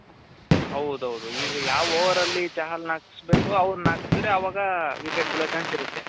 ಹೌದೌದು ಈಗ ಯಾವ್ overಲ್ಲಿ ಚಹಲ್ ನ ಹಾಕುಸ್ಬೆಕು ಅವರನ್ನ ಹಾಕ್ಸಿದ್ರೆ ಅವಾಗ wicket ಬಿಳೋ chance ಇರುತ್ತೆ .